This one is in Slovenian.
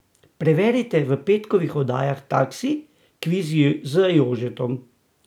Preverite v petkovih oddajah Taksi, kviz z Jožetom.